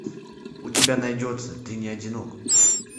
у тебя найдется ты не одинок